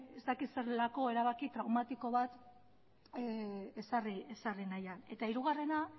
erabaki traumatiko bat ezarri nahian eta hirugarrena